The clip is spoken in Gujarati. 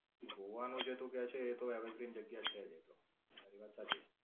ગોવા નું જે તું કેય છે એ તો everything જગ્યા છે જ એ તો. તારી વાત સાચી.